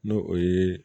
N'o o ye